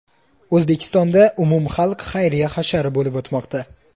O‘zbekistonda umumxalq xayriya hashari bo‘lib o‘tmoqda.